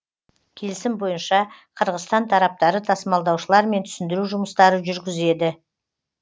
келісім бойынша қырғызстан тараптары тасымалдаушылармен түсіндіру жұмыстары жүргізеді